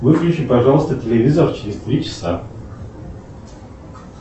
выключи пожалуйста телевизор через три часа